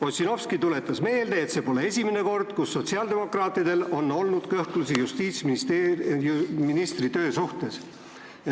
Ossinovski tuletas meelde, et see pole esimene kord, kui sotsiaaldemokraatidel on kõhklusi justiitsministri töö suhtes.